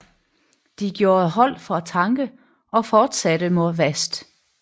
De gjorde holdt for at tanke og fortsatte mod vest